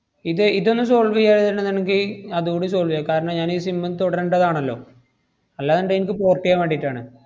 ഇത് ഇതൊന്ന് solve ചെയ്യാ~ ആണെങ്കി അതൂടി solve ചെയ്യാം. കാരണം ഞാനീ sim തുടരണ്ടതാണല്ലോ. അല്ലാണ്ടെ എനിക്ക് port എയ്യാൻ വേണ്ടിട്ടാണ്.